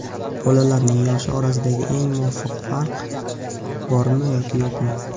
Bolalarning yoshi orasidagi eng muvofiq farq: bormi yoki yo‘qmi?.